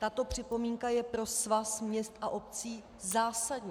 Tato připomínka je pro Svaz měst a obcí zásadní.